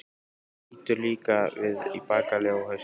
Hann lítur líka við í bakaleið, á haustin.